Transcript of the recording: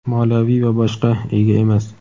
moliyaviy va boshqa) ega emas.